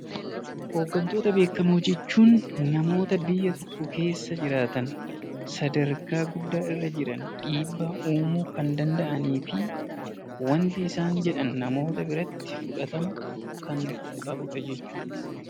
Hoggantoota beekamoo jechuun namoota biyya tokko keessa jiran, sadarkaa guddaa qaban, dhiibbaa uumuu kan danda’anii fi wanti isaan jedhan namoota biratti fudhatama kannqabu jechuudha.